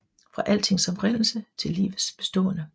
Fra altings oprindelse til livets opståen